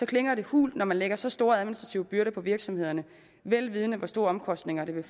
klinger det hult når man lægger så store administrative byrder på virksomhederne vel vidende hvor store omkostninger det vil